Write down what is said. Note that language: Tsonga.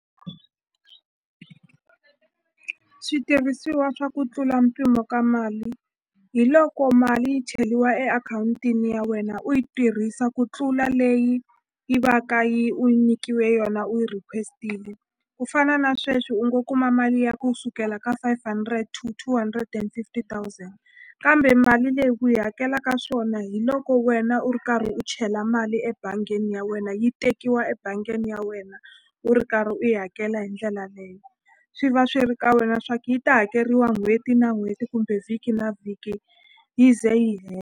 Switirhisiwa swa ku tlula mpimo ka mali hi loko mali yi cheliwa e akhawuntini ya wena u yi tirhisa ku tlula leyi yi va ka yi u nyikiwe yona u yi request-ini ku fana na sweswi u ngo kuma mali ya ku sukela ka five hundred to two hundred and fifty thousand kambe mali leyi ku yi hakelaka swona hi loko wena u ri karhi u chela mali ebangini ya wena yi tekiwa ebangini ya wena u ri karhi u yi hakela hi ndlela leyo swi va swi ri ka wena swa ku yi ta hakeriwa n'hweti na n'hweti kumbe vhiki na vhiki yi ze yi .